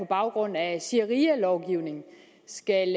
baggrund af sharialovgivning skal